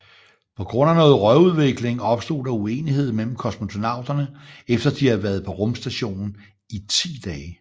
På grund af noget røgudvikling opstod der uenighed imellem kosmonauterne efter de havde været på rumstationen i 10 dage